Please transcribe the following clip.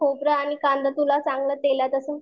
खोबरं आणि कांदा तुला चांगलं तेलात असं